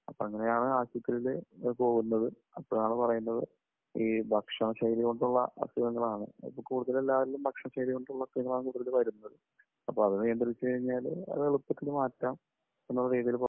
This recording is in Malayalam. അപ്പോ അങ്ങനെയാണ് ആശുപത്രിയിൽ പോകുന്നത്. അപ്പോഴാണ് പറയുന്നത് ഈ ഭക്ഷണശൈലി കൊണ്ടുള്ള അസുഖങ്ങളാണ്. കൂടുതലും ഭക്ഷണശൈലികൾ ഉള്ള അസുഖങ്ങൾ ആണ് ഇങ്ങനെ വരുന്നത്. അപ്പോൾ അത് നിയന്ത്രിച്ച് കഴിഞ്ഞാൽ അത് എളുപ്പത്തിൽ മാറ്റാം എന്നുള്ള രീതിയിൽ പറഞ്ഞു.